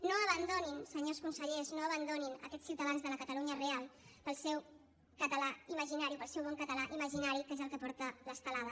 no abandonin senyors consellers no abandonin aquests ciutadans de la catalunya real pel seu català imaginari o pel seu bon català imaginari que és el que porta l’estelada